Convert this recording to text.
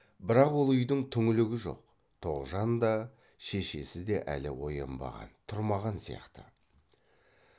бірақ ол үйдің түңлігі жоқ тоғжан да шешесі де әлі оянбаған тұрмаған сияқты